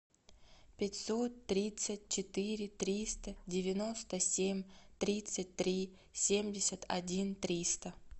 пятьсот тридцать четыре триста девяносто семь тридцать три семьдесят один триста